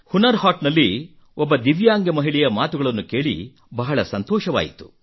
ಹುನರ್ ಹಾಟ್ ನಲ್ಲಿ ಒಬ್ಬ ದಿವ್ಯಾಂಗ ಮಹಿಳೆಯ ಮಾತುಗಳನ್ನು ಕೇಳಿ ಬಹಳ ಸಂತೋಷವಾಯಿತು